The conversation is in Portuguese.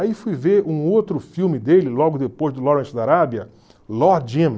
Aí fui ver um outro filme dele, logo depois do Lawrence da Arábia, Lord Jim.